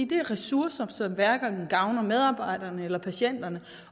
det er ressourcer som hverken gavner medarbejderne eller patienterne